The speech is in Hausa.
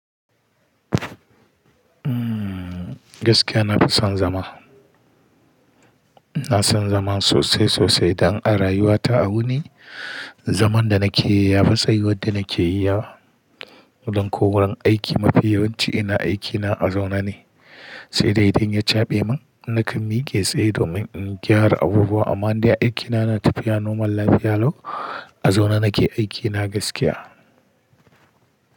Gaskiya na fi son zama. Ina son zama sosai sosai don a rayuwa ta a wuni. Zaman da na ke yi ya fi tsayiwar da nake yi yawa dan ko wurin aiki. Mafi yawanci ina aikina a zaune ne, sai dai idan ya caɓe min, na kan mike tsaye domin in gyara abubuwa. Amma in dai aikina na tafiya nomarl lafiya, lau a zaune na ke aikina gaskiya.